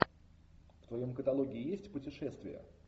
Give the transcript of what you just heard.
в твоем каталоге есть путешествия